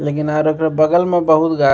लेकिन आर एकरा बगल में बहुत --